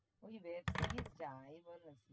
ওই web series যাই বল আরকি